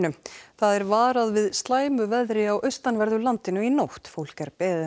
það er varað við slæmu veðri á austanverðu landinu í nótt fólk er beðið